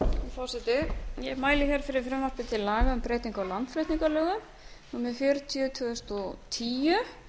forseti ég mæli hér fyrir frumvarpi til laga um breytingu á landflutningalögum númer fjörutíu tvö þúsund og tíu